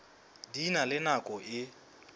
di na le nako e